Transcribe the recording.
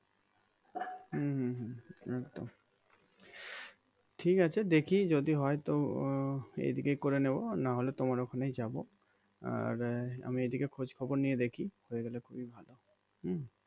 হম হম হম একদম ঠিক আছে দেখি যদি হয় তো এদিকে করে নেবো নাহলে তোমার ওখানেই যাবো আর আমি এইদিকে খোঁজ খবরে নিয়ে দেখি হয়ে গেলে খুবই ভালো হম